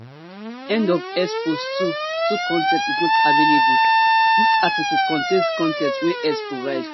end of x post two two con ten t is not available dis article contain con ten t wey x provide